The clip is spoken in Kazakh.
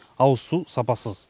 ауыз су сапасыз